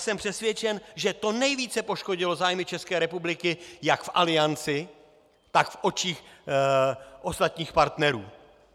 Jsem přesvědčen, že to nejvíce poškodilo zájmy České republiky jak v Alianci, tak v očích ostatních partnerů.